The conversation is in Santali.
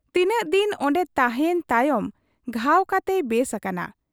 ᱛᱤᱱᱟᱹᱜ ᱫᱤᱱ ᱚᱱᱰᱮ ᱛᱟᱦᱮᱸᱭᱮᱱ ᱛᱟᱭᱚᱢ ᱜᱷᱟᱣ ᱠᱟᱛᱮᱭ ᱵᱮᱥ ᱟᱠᱟᱱᱟ ᱾